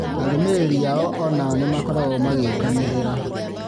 Arũmĩrĩri ao onao nĩmakoragwo magĩũkanĩrĩra